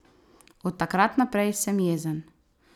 Od takrat naprej sem jezen.